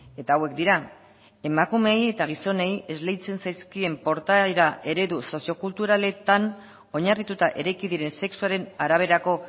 eta hauek dira emakumeei eta gizonei esleitzen zaizkien portaera ereduz soziokulturaletan oinarrituta eraiki diren sexuaren araberako